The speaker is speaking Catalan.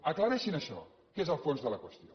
aclareixin això que és el fons de la qüestió